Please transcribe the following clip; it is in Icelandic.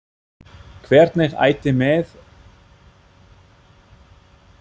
Hvernig ætti mér að finnast um að fresta leiknum?